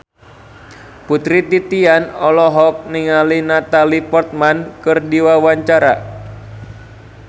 Putri Titian olohok ningali Natalie Portman keur diwawancara